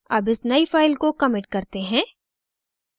अब इस नई फ़ाइल को commit करते हैं